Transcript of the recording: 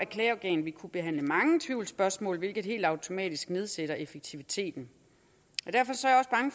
klageorgan vil kunne behandle mange tvivlsspørgsmål hvilket helt automatisk nedsætter effektiviteten